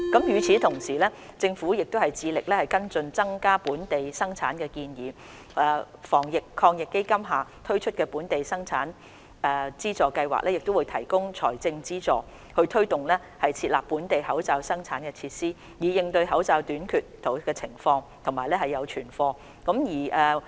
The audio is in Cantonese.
與此同時，政府致力跟進增加本地生產的建議，防疫抗疫基金下推出的本地口罩生產資助計劃會提供財政資助，推動設立本地的口罩生產設施，以應對口罩短缺的情況並建立存貨。